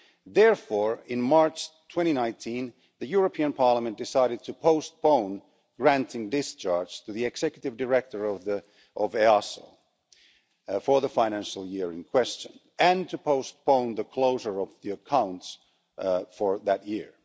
Therefore, in March 2019, the European Parliament decided to postpone granting discharge to the Executive Director of EASO for the financial year in question and to postpone the closure of the accounts for that year.